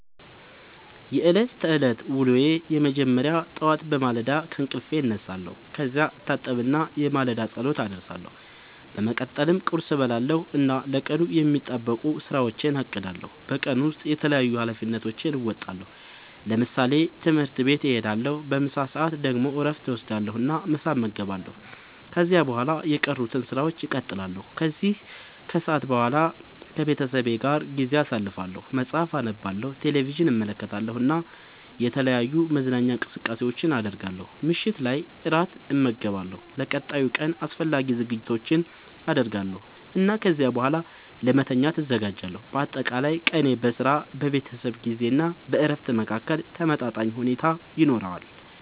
የዕለት ተዕለት ዉሎየ መጀመሪያ ጠዋት በማለዳ ከእንቅልፌ እነሳለሁ። ከዚያ እታጠብና የማለዳ ጸሎት አደርሳለሁ። በመቀጠልም ቁርስ እበላለሁ እና ለቀኑ የሚጠበቁ ሥራዎቼን አቅዳለሁ። በቀን ውስጥ የተለያዩ ኃላፊነቶቼን እወጣለሁ። ለምሳሌ፦ ትምህርት ቤት እሄዳለሁ። በምሳ ሰዓት ደግሞ እረፍት እወስዳለሁ እና ምሳ እመገባለሁ። ከዚያ በኋላ የቀሩትን ሥራዎች እቀጥላለሁ። ከሰዓት በኋላ ከቤተሰቤ ጋር ጊዜ አሳልፋለሁ፣ መጽሐፍ አነባለሁ፣ ቴሌቪዥን እመለከታለሁ እና የተለያዩ መዝናኛ እንቅስቃሴዎችን አደርጋለሁ። ምሽት ላይ እራት እመገባለሁ፣ ለቀጣዩ ቀን አስፈላጊ ዝግጅቶችን አደርጋለሁ እና ከዚያ በኋላ ለመተኛት እዘጋጃለሁ። በአጠቃላይ ቀኔ በሥራ፣ በቤተሰብ ጊዜ እና በእረፍት መካከል ተመጣጣኝ ሁኔታ ይኖረዋል።